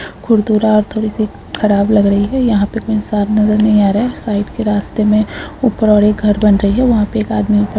खुरदुरा थोड़ी सी खराब लग रही है यहाँ कोई इंसान नज़र नही आ रहा साइड के रास्ते में ऊपर और एक घर बन रही है वहाँ पे एक आदमी ऊपर --